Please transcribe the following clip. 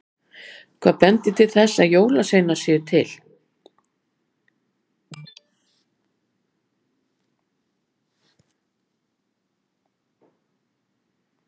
Hvað bendir til þess að jólasveinar séu til?